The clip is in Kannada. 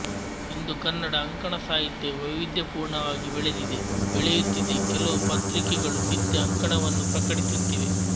ಇಂದು ಕನ್ನಡ ಅಂಕಣ ಸಾಹಿತ್ಯ ವೈವಿಧ್ಯಪೂರ್ಣವಾಗಿ ಬೆಳೆದಿದೆ ಬೆಳೆಯುತ್ತಿದೆ ಕೆಲವು ಪತ್ರಿಕೆಗಳು ನಿತ್ಯ ಅಂಕಣವನ್ನೂ ಪ್ರಕಟಿಸುತ್ತಿವೆ